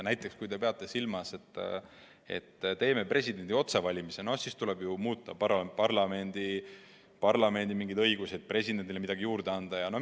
Näiteks kui te peate silmas, et teeme presidendi otsevalimised, siis tuleb ju muuta ka mingeid parlamendi õigusi ja presidendile mingeid õigusi juurde anda.